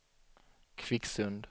Kvicksund